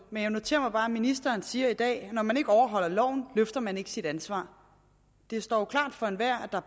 men jeg noterer mig bare at ministeren siger i dag at når man ikke overholder loven løfter man ikke sit ansvar det står jo klart for enhver at